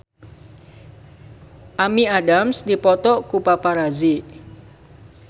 Amy Adams dipoto ku paparazi